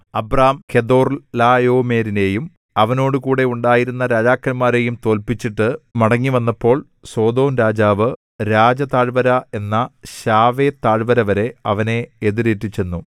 Abram കെദൊർലായോമെരിനെയും അവനോടുകൂടെ ഉണ്ടായിരുന്ന രാജാക്കന്മാരെയും തോല്പിച്ചിട്ട് മടങ്ങിവന്നപ്പോൾ സൊദോംരാജാവ് രാജതാഴ്വര എന്ന ശാവേതാഴ്വരവരെ അവനെ എതിരേറ്റു ചെന്നു